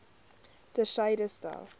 ter syde stel